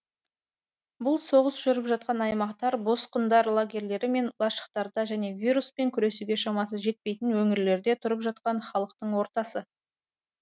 бұл соғыс жүріп жатқан аймақтар босқындар лагерлері мен лашықтарда және вируспен күресуге шамасы жетпейтін өңірлерде тұрып жатқан халықтың ортасы